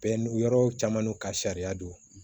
Bɛɛ n'u yɔrɔ caman n'u ka sariya don